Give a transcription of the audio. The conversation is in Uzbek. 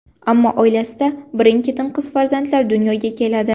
Ammo oilasida birin-ketin qiz farzandlar dunyoga keladi.